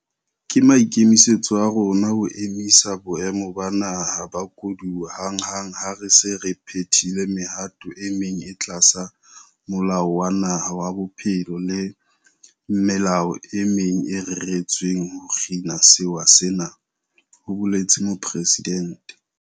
Ke maikemisetso a rona ho emisa Boemo ba Naha ba Koduwa hanghang ha re se re phethile mehato e meng e tlasa Molao wa Naha wa Bophelo le melao e meng e reretsweng ho kgina sewa sena, ho boletse Mopresidente.